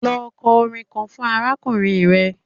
Lọ kọ orin kan fún arákùnrin rẹ!